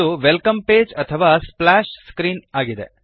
ಇದು welcome page ಅಥವಾ splash screen ಇದೆ